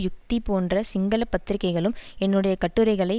யுக்தி போன்ற சிங்கள பத்திரிகைகளும் என்னுடைய கட்டுரைகளை